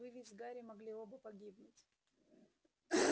вы ведь с гарри могли оба погибнуть